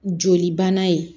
Joli bana ye